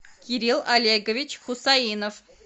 кирилл олегович хусаинов